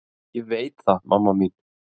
Ég veit það mamma mín.